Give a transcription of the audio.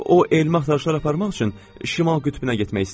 O elmi axtarışlar aparmaq üçün Şimal qütbünə getmək istəyir.